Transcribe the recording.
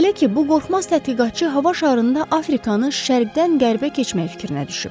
Belə ki, bu qorxmaz tədqiqatçı hava şarında Afrikanı şərqdən qərbə keçmək fikrinə düşüb.